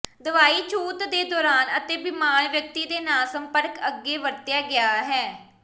ਦਵਾਈ ਛੂਤ ਦੇ ਦੌਰਾਨ ਅਤੇ ਬੀਮਾਰ ਵਿਅਕਤੀ ਦੇ ਨਾਲ ਸੰਪਰਕ ਅੱਗੇ ਵਰਤਿਆ ਗਿਆ ਹੈ